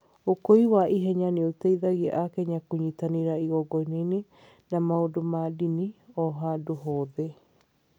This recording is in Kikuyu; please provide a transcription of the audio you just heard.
Ũkui wa ihenya nĩ ũteithĩtie Akenya kũnyitanĩra igongona na maũndũ ma ndini o handũ hothe.